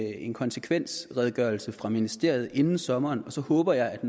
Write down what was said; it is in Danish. en konsekvensredegørelse fra ministeriet inden sommeren og så håber jeg at